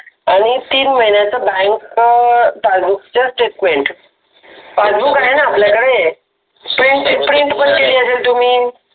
अणि तिन महिन्याच बॅन्क अ पासबुक च statement पासबुक आहे न आपल्याकडे